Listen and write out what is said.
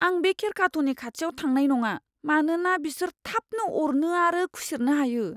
आं बे खेरखाथ'नि खाथियाव थांनाय नङा, मानोना बिसोर थाबनो अरनो आरो खुसेरनो हायो।